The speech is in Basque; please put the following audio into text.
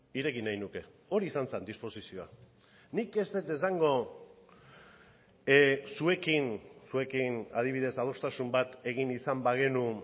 ireki nahi nuke hori izan zen disposizioa nik ez dut esango zuekin zuekin adibidez adostasun bat egin izan bagenu